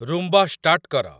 Roomba start କର